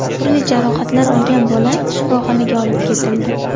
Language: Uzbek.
Turli jarohatlar olgan bola shifoxonaga olib ketildi.